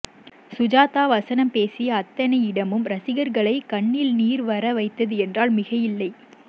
சுஜாதா வசனம் பேசிய அத்தனை இடமும் ரசிகர்களை கண்ணில் நீர் வர வைத்தது என்றால் மிகையில்லை